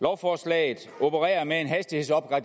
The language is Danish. lovforslaget opererer med